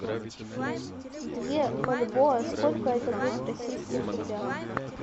две бальбоа сколько это будет в российских рублях